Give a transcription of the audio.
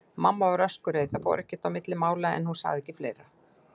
Mamma var öskureið, það fór ekkert á milli mála, en hún sagði ekki fleira.